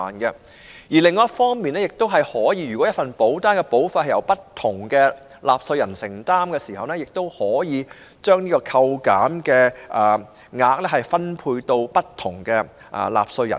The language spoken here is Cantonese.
此外，如果一份保單的保費由不同納稅人承擔，亦可以把扣減額分配給不同納稅人。